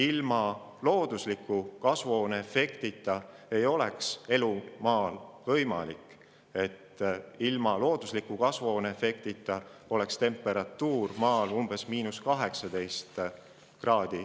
Ilma selleta ei oleks elu Maal võimalik ja temperatuur Maal oleks umbes –18 kraadi.